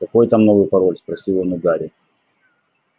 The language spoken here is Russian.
какой там новый пароль спросил он у гарри